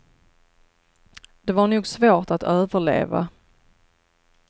Det var nog svårt att överleva.